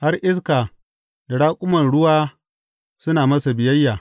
Har iska da raƙuman ruwa suna masa biyayya!